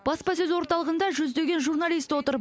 баспасөз орталығында жүздеген журналист отыр